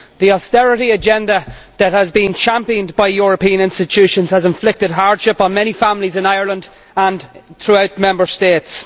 The austerity agenda that has been championed by European institutions has inflicted hardship on many families in Ireland and throughout the Member States.